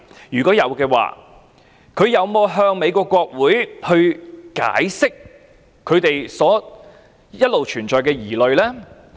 如果有，他們有否向美國國會解釋他們一直存在的疑慮？